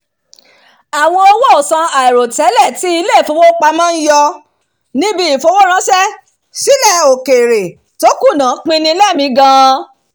àwọn owóòsan àìròtẹ́lẹ̀ tí ilé ìfowópamọ́ ń yọ níbi ìfowóránṣẹ́ sílẹ̀ òkèèrè tó kùnà pín-ni lẹ́mìí gan-an